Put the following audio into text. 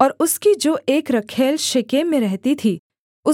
और उसकी जो एक रखैल शेकेम में रहती थी